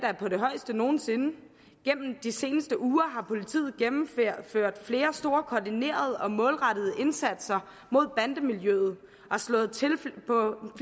er på det højeste nogen sinde gennem de seneste uger har politiet gennemført flere store koordinerede og målrettede indsatser mod bandemiljøet og slået til på